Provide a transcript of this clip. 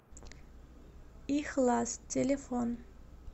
ихлас телефон